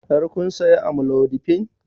Har kun saya amlodipine?